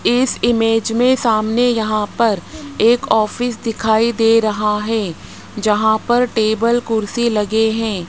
इस इमेज में सामने यहां पर एक ऑफिस दिखाई दे रहा है जहां पर टेबल कुर्सी लगे हैं।